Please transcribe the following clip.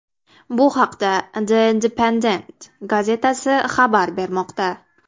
Bu haqda The Independent gazetasi xabar bermoqda .